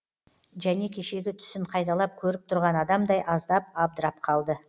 және кешегі түсін қайталап көріп тұрған адамдай аздап абдырап қалды